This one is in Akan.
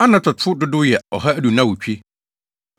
Anatotfo dodow yɛ 2 128 1